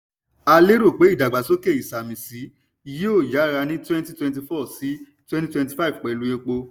a lérò pé ìdàgbàsókè ìsàmìsí yóò yára ní twenty twenty-four to twenty twenty-five pẹ̀lú epo.